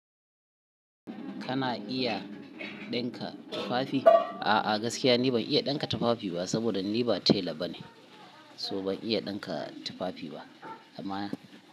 Kana iya ɗinka tufafi? Ah ah gaskiya ni ban iya ɗinka tufafi ba, saboda ni ba tela bane, so ban iya ɗinka tufafi ba, amma.